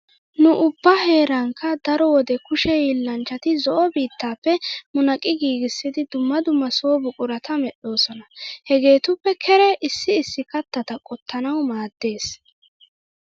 Nu ubbaa heerankka daro wode kushe hiillanchchati zo'o biittaappe munaqqi giigissidi dumma dumma so buqurata medhdhoosona. Hegeetuppe keree issi issi kattata qottanawu maaddees.